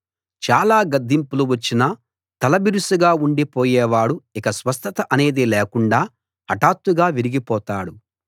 చాలా గద్దింపులు వచ్చినా తలబిరుసుగా ఉండిపోయేవాడు ఇక స్వస్థత అనేది లేకుండా హఠాత్తుగా విరిగి పోతాడు